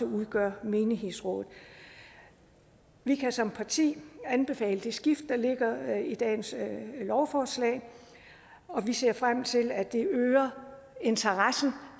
udgør menighedsrådet vi kan som parti anbefale det skift der ligger i dagens lovforslag og vi ser frem til at det øger interessen